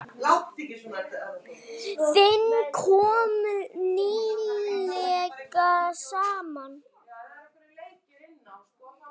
Þing kom nýlega saman.